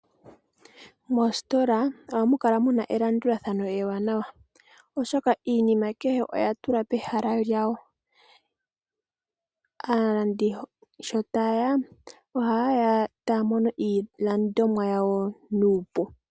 Moositola ohamu kala muna elandulathano ewanawa. Oshoka iinima kehe oya tulwa pehala lyawo . Aalandi sho taye ya oha ye ya etaya mono iilandomwa yawo nuupu.